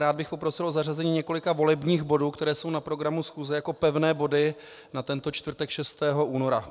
Rád bych poprosil o zařazení několika volebních bodů, které jsou na programu schůze, jako pevných bodů na tento čtvrtek 6. února.